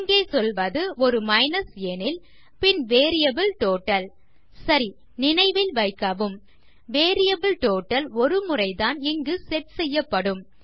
இங்கே சொல்வது அது ஒரு மைனஸ் எனில் பின் வேரியபிள் டோட்டல் - சரி நினைவில் வைக்கவும் வேரியபிள் டோட்டல் ஒரு முறைதான் இதற்கு செட் செய்யப்படும்